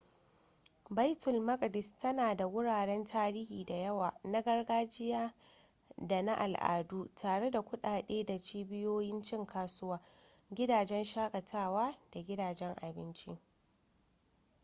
baitul maqdis tana da wuraren tarihi da yawa na gargajiya da na al'adu tare da kuɗaɗe da cibiyoyin cin kasuwa gidajen shakatawa da gidajen abinci